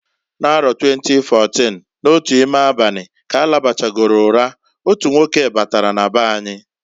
N'aro 2014, n'otu ime abani, k'alabachagolu ura, otu nwoke batara na beanyi.